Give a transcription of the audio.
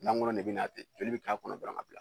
Lankolon de bɛ na ten joli bɛ k'a kɔnɔ dɔrɔn ka bila